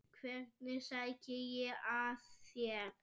Hvernig sæki ég að þér?